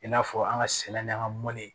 I n'a fɔ an ka sɛnɛ n'an ka mɔni